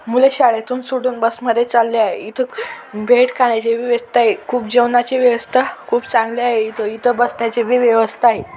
मुले शाळेतून सुटून बस मध्ये चालले आहे. इथं व्यवस्था आहे खूप जेवणाची व्यवस्था खूप चांगली आहे इथं बसण्याची भी व्यवस्था आहे.